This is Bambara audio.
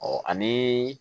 ani